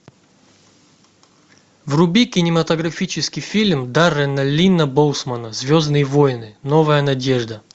вруби кинематографический фильм даррена линна боусмана звездные войны новая надежда